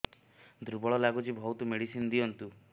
ଦୁର୍ବଳ ଲାଗୁଚି ବହୁତ ମେଡିସିନ ଦିଅନ୍ତୁ